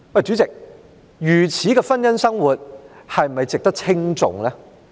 主席，如此的婚姻生活是否值得稱頌？